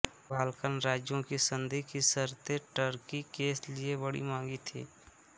Balkan राज्यों की संधि की शर्तें टर्की के लिए बड़ी मँहगी थीं